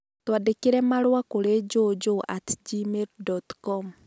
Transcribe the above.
Twandĩkĩre marũa kũrĩ joejoe at gmail dot com